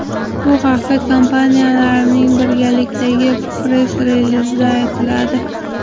Bu haqda kampaniyalarning birgalikdagi press-relizida aytiladi.